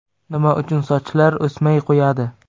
Nima uchun sochlar o‘smay qo‘yadi?.